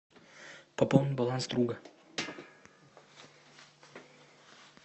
пополни баланс друга